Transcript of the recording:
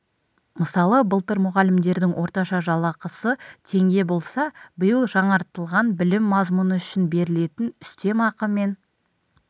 мысалы былтыр мұғалімдердің орташа жалақысы теңге болса биыл жаңартылған білім мазмұны үшін берілетін үстемақы мен